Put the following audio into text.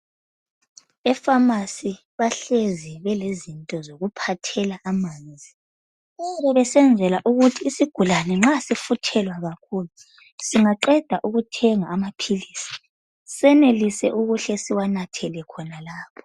Efamasi bahlezi belezinto zokuphathela amanzi besenzela ukuthi isigulane nxa sifuthelwa kakhulu singaqeda ukuthenga amaphilisi sihle siwanathele khonalapho.